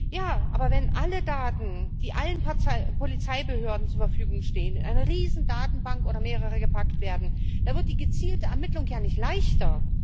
Ja, aber wenn alle Daten, die allen Polizeibehörden zur Verfügung stehen, in eine Riesendatenbank oder mehrere gepackt werden, dann wird die gezielte Ermittlung ja nicht leichter!